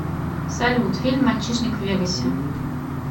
салют фильм мальчишник в вегасе